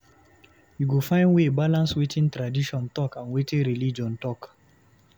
You go find way balance wetin tradition talk and wetin religion talk.